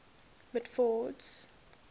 mitford's